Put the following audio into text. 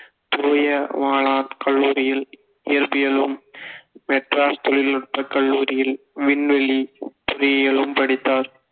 தூய வானார் கல்லூரியில் இயற்பியலும் மெட்ராஸ் தொழில்நுட்பக் கல்லூரியில் விண்வெளி பொறியியலும் படித்தார்